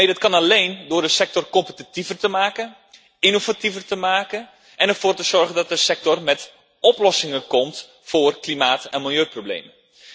Nee, dat kan alleen door de sector competitiever te maken, innovatiever te maken en ervoor te zorgen dat de sector met oplossingen komt voor klimaat en milieuproblemen.